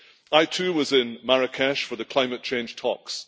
I too was in Marrakech for the climate change talks.